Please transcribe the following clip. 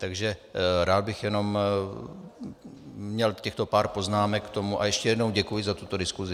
Takže rád bych jenom měl těchto pár poznámek k tomu a ještě jednou děkuji za tuto diskusi.